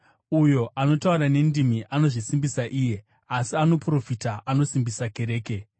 Uyo anotaura nendimi anozvisimbisa iye asi anoprofita anosimbisa kereke.